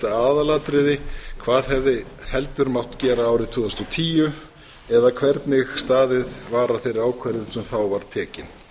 aðalatriði hvað hefði heldur mátt gera árið tvö þúsund og tíu eða hvernig staðið var að þeirri ákvörðun sem þá var tekin